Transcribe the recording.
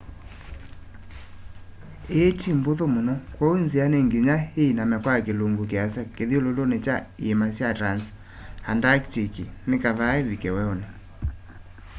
ii ti mbuthu muno kwoou nzia ni nginya iiname kwa kilungu kiasa kithyululuni kya iima sya transantarctic ni kaa ivike weuni